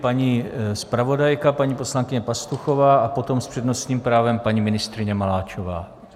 Paní zpravodajka paní poslankyně Pastuchová a potom s přednostním právem paní ministryně Maláčová.